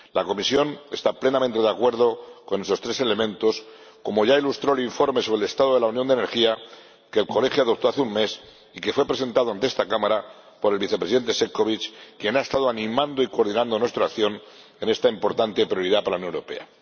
La Comisión está plenamente de acuerdo con esos tres elementos, como ya ilustró el informe sobre el Estado de la Unión de la Energía que el Colegio adoptó hace un mes y que fue presentado ante esta Cámara por el Vicepresidente Šefčovič, quien ha estado animando y coordinando nuestra acción en esta importante prioridad para la Unión Europea.